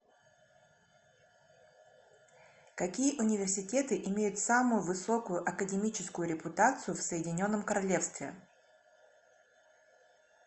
какие университеты имеют самую высокую академическую репутацию в соединенном королевстве